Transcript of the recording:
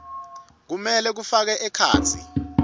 kumele kufake ekhatsi